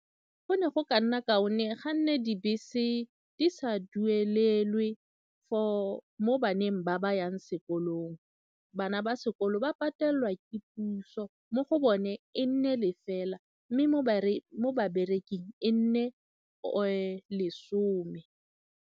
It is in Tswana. Go ne go ka nna kaone ga nne dibese di sa duelelwe for mo baneng ba ba yang sekolong, bana ba sekolo ba patelelwa ke puso mo go bone e nne lefela mme mo babereking e nne lesome.